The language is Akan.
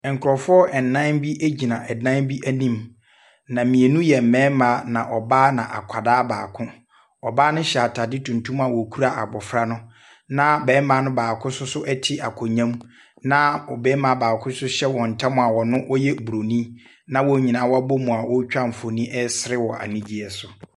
Nkrɔfoɔ nnan bi ɛgyina ɛdan bi anim na mmienu yɛ mmarima na ɔbaa na akwadaa baako ɔbaa no hyɛ ataadeɛ tuntum na ɔkura abɔfra no na barima baako nso te akonnwa mu na barima baako nso hyɛ wɔn ntem ɔyɛ borɔni wɔ abom a ɔtwa mfoni a ɔsere anigyeɛ so.